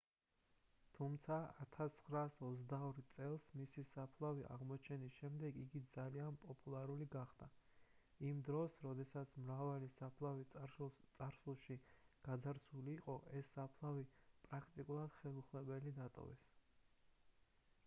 თუმცა 1922 წელს მისი საფლავის აღმოჩენის შემდეგ იგი ძალიან პოპულარული გახდა იმ დროს როდესაც მრავალი საფლავი წარსულში გაძარცვული იყო ეს საფლავი პრაქტიკულად ხელუხლებელი დატოვეს